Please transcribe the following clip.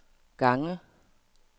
gange